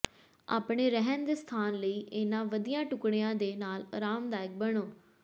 ਆਪਣੇ ਰਹਿਣ ਦੇ ਸਥਾਨ ਲਈ ਇਹਨਾਂ ਵਧੀਆ ਟੁਕੜਿਆਂ ਦੇ ਨਾਲ ਅਰਾਮਦਾਇਕ ਬਣੋ